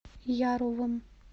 яровым